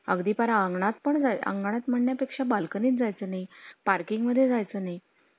अगदीपणा अंगणात पण आंगडात मान्य पेक्षा बाल्कनीत जायचा नाही, parking मध्ये जायचं नाही